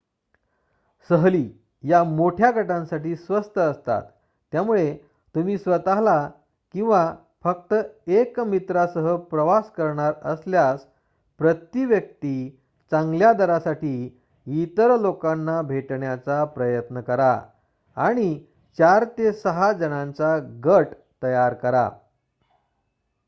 सहली या मोठ्या गटांसाठी स्वस्त असतात त्यामुळे तुम्ही स्वत किंवा फक्त 1 मित्रासह प्रवास करणार असल्यास प्रती-व्यक्ती चांगल्या दरासाठी इतर लोकांना भेटण्याचा प्रयत्न करा आणि 4 ते 6 जणांचा गट तयार करा